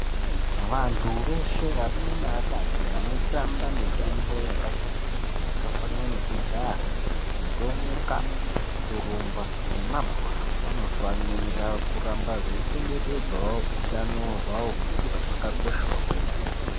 Vantu veshe varume neakadzi vanotamba mitambo yakati kuti yakafanana nekujaha, kutomuka ,kurumba nemabhora vanofanira kuramba veichengetedzawo utano hwavo ngekuti hwakakoshawo kwemene